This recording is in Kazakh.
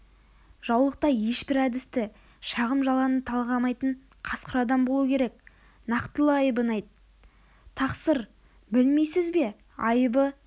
жаулықта ешбір әдісті шағым-жаланы талғамайтын қасқыр адам болу керек нақтылы айыбын айт тақсыр білмейсіз бе айыбы